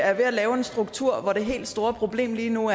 er ved at lave en struktur hvor det helt store problem lige nu